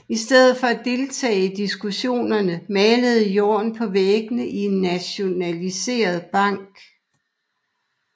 I stedet for at deltage i diskussionerne malede Jorn på væggene i en nationaliseret bank